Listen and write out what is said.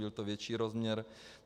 Je to větší rozměr.